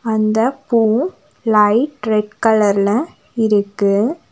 அந்த பூ light red கலர்ல இருக்கு.